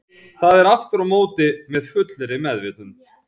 Það er aftur á móti með fullri meðvitund.